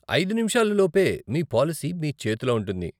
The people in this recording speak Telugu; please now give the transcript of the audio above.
ఐదు నిముషాలు లోపు మీ పాలసీ మీ చేతులో ఉంటుంది.